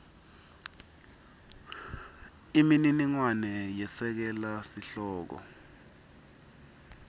imininingwane yesekela sihloko